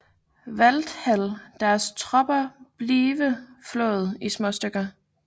Walthall deres tropper blive flået i småstykker